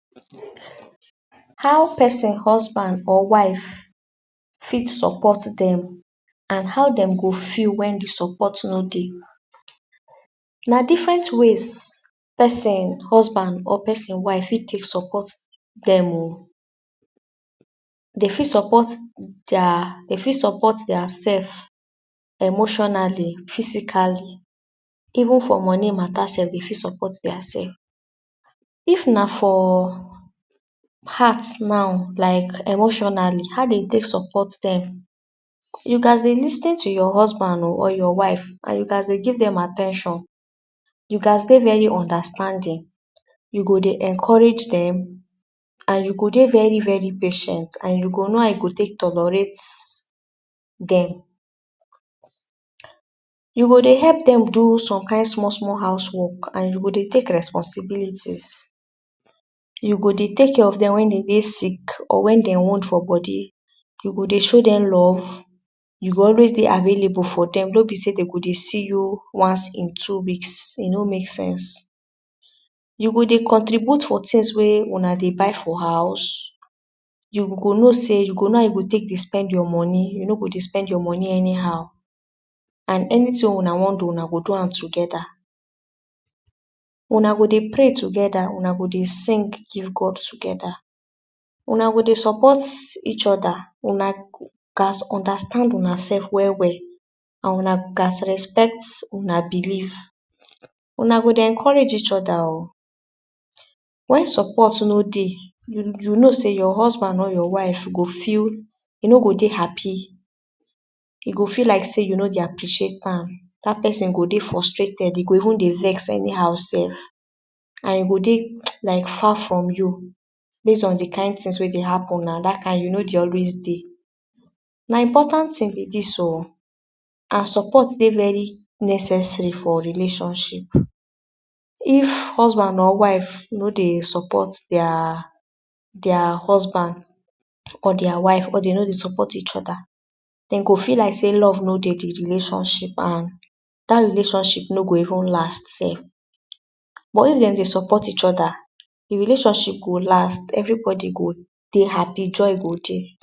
How person husband or wife fit support dem and how dem go feel wen de support no dey. na different ways person husband or person wife fit take support dem oh. Dey fit support there. Dey fit support dia self emotionally, physically, even for money mata sef dey fit support diaself if na for heart or emotionally. How dem take support dem: you gast dey lis ten to your husband oh or your wife and you fast dey give dem at ten tion. you gast dey very understanding. you go dey encourage dem and you go dey very very patient and you go know how you go take tolerate dem. You go dey help dem do some kind small small house work and you go dey take responsibility. you go dey take care of dem wen dey dey sick or wen dem wound for body. you go dey show dem love. you go always dey available for some days. no be sey dem go dey see you once in too weeks, e no make sense. you go dey contribute some tings wey una dey buy for house. you go know sey you go know how you take dey spend your money. you no go spend your money anyhow and anyting wey una wan do una go do am togeda. Una go dey pray togeda, una go dey sing give God togeda, una go dey support each other, una gast understand unaself well well and una gast respect una believe. una go dey encourage each other oh. wen support no dey, you know sey your husband or your wife no go feel… go dey happy. e go feel like sey you no dey appreciate am. Dat person go dey frustrated, e go even dey vex anyhow sef and e go dey like far from you base on de kind ting wey dey happen. Dat kind ting you know de always dey; na important ting be dis oh and support dey very necessary for relationship. if husband or wife no dey support dia dia husband or dia wife or dey no dey support each other, dem go feel like sey love no dey de relationship and dat relationship no go even last sef. but if dem dey support each other. de relationship go last and everybody go dey happy joy go dey.